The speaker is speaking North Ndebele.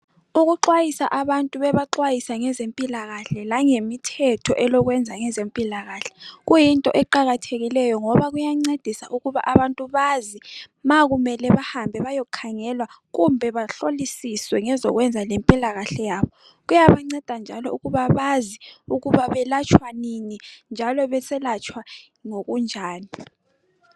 Ukuxayisa abantu bebaxwayisa ngezempilakahle langemithetho elokwenza ngezempilakahle kuyinto eqakathekileyo ngoba kuyancedisa ukuba abantu bazi ma kumele bahambe bayekhangelwa kumbe bahlolisiswe ngezokwenza lempilakahle yabo kuyabanceda njalo ukuba bazi ukuba belatshwa nini njalo beselatshwa ngokunjani.